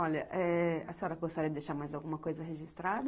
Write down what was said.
Olha, a senhora gostaria de deixar mais alguma coisa registrada?